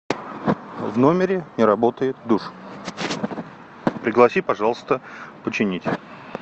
в номере не работает душ пригласи пожалуйста починить